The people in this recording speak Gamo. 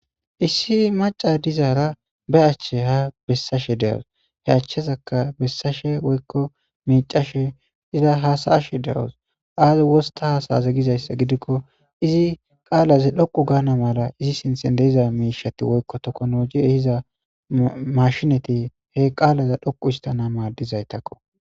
issi maca dizaara ba achche ha bessashe de7os he achchezaka bessashe woykko miicashe iza hasaashe de7os aaze wosta haasaaze gizayssa gidikko izi qaalaze dhoqu gaana mala izi sinthe deiza miishati woykko tokonoji ehiza mashinati he qaalaza dhoqu istana maadizaytakko